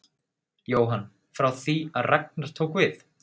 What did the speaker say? Jóhann: Frá því að Ragnar tók við?